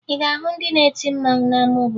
Ị ga-ahụ ndị na-eti mmanwụ n'ama obodo